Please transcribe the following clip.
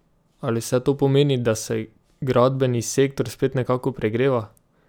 Ali vse to pomeni, da se gradbeni sektor spet nekako pregreva?